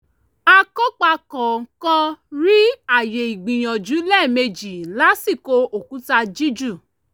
akópa kọ̀ọ̀kan rí ààyè ìgbìyànjú lẹ́ẹ̀mejì lásìkò òkúta jíjù